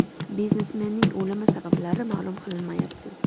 Biznesmenning o‘limi sabablari ma’lum qilinmayapti.